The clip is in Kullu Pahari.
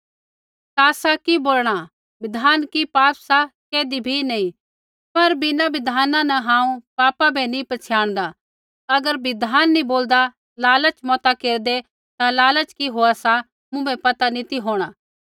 ता आसा कि बोलणा बिधान कि पाप सा कैधी भी नैंई पर बिना बिधाना न हांऊँ पापा बै नी पछ़ियाणदा अगर बिधान नी बोलदा लालच मता केरदै ता लालच कि होआ सा मुँभै पता नी ती होंणा